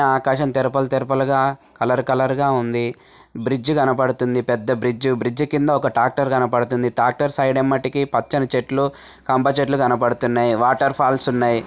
ఆకాశం తేరు తేరు పలుగా కలర్ కలర్ గా ఉంది బ్రిడ్జ్ కనబడుతుంది పెద్ద బ్రిడ్జి బ్రిడ్జి కింద ట్రాక్టర్ కనబడుతుంది ట్రాక్టర్ సైడ్ వెంబడికి పచ్చటి చెట్లు కంప చెట్లు కనబడుతున్నాయి వాటర్ ఫాల్స్ ఉన్నాయి.